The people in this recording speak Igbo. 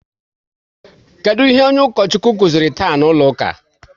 Kedụ ihe onye Ukochukwu kụziri taa n'ụlọ ụka?